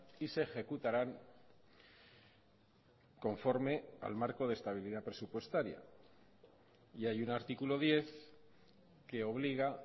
y se ejecutarán conforme al marco de estabilidad presupuestaria y hay un artículo diez que obliga